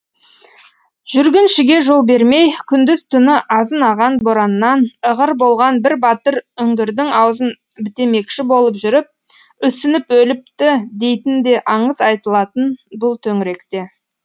жүргіншіге жол бермей күндіз түні азынаған бораннан ығыр болған бір батыр үңгірдің аузын бітемекші болып жүріп үсініп өліпті дейтін де аңыз айтылатын бұл төңіректе